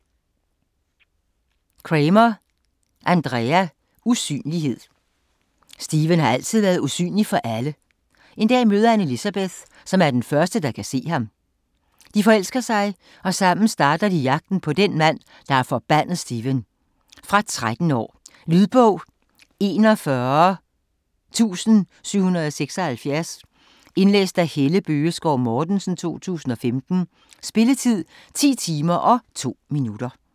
Cremer, Andrea: Usynlighed Stephen har altid været usynlig for alle. En dag møder han Elizabeth, der som den første kan se ham. De forelsker sig og sammen starter de jagten på den mand, der har forbandet Stephen. Fra 13 år. Lydbog 41776 Indlæst af Helle Bøgeskov Mortensen, 2015. Spilletid: 10 timer, 2 minutter.